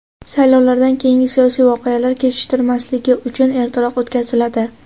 saylovdan keyingi siyosiy voqealar kechiktirilmasligi uchun ertaroq o‘tkaziladi.